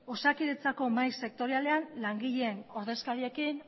osakidetzako mahai sektorialean langileen ordezkariekin